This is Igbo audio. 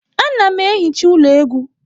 Ana m ehicha ụlọ egwu.